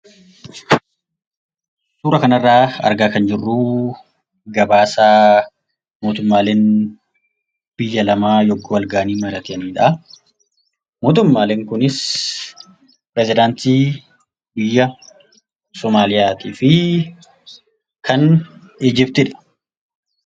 Suuraa kanarraa argaa kan jirruu, gabaasa mootummaaleen biyya lamaa yogguu wal gahanii mari'atanidha. Mootummaaleen kunis pirezidaantii biyya Somaaliyaatiifi kan Ijiptiidha.